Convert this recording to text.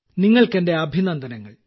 നിങ്ങൾക്ക് എന്റെ അഭിനന്ദനങ്ങൾ